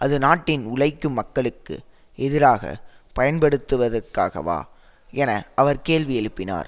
அது நாட்டின் உழைக்கும் மக்களுக்கு எதிராக பயன்படுத்துவதற்காகவா என அவர் கேள்வியெழுப்பினார்